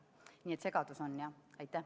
Nii et on segadus, jah.